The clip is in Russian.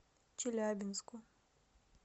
челябинску